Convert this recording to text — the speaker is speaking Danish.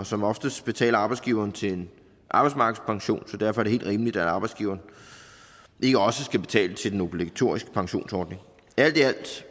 som oftest betaler arbejdsgiveren til en arbejdsmarkedspension så derfor er det helt rimeligt at arbejdsgiveren ikke også skal betale til den obligatoriske pensionsordning alt i alt